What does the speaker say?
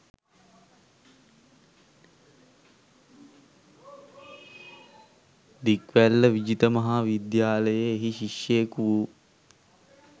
දික්වැල්ල විජිත මහා විද්‍යාලයේ එහි ශිෂ්‍යයකු වූ